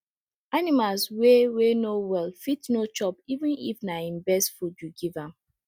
animals wey wey no well fit no chopeven if na he best food you give am